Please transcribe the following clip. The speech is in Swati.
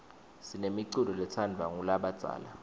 sinemiculo letsandvwa ngulabadzala